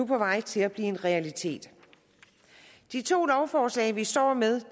vej til at blive en realitet de to lovforslag vi står med